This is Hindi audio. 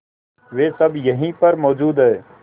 वे सब यहीं पर मौजूद है